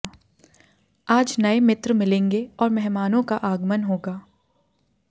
आज नए मित्र मिलेंगे और मेहमानों का आगमन होगा